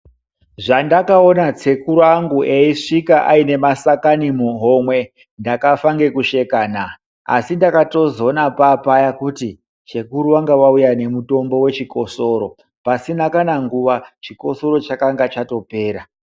Zvandakaona sekuru vangu veisvika vane mashakani muhomwe ndakafa ngekusheka na asi ndakatozona pavapaya kuti sekuru vanga vauya nemushonga wechikosoro pasina nguva chikosoro changa chatopera.